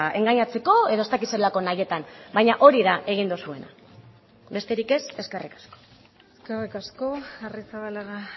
engainatzeko edo ez dakit zelako nahietan baina hori da egin duzuena besterik ez eskerrik asko eskerrik asko arrizabalaga